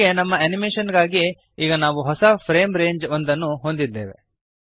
ಹೀಗೆ ನಮ್ಮ ಅನಿಮೇಶನ್ ಗಾಗಿ ಈಗ ನಾವು ಹೊಸ ಫ್ರೇಮ್ ರೇಂಜ್ ಒಂದ ನ್ನು ಹೊಂದಿದ್ದೇವೆ